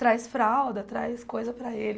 Traz fralda, traz coisa para ele.